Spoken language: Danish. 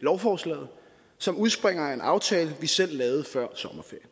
lovforslaget som udspringer af en aftale vi selv lavede før sommerferien